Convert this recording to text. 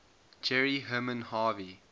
jerry herman harvey